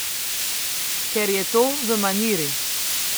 Ker je to v maniri.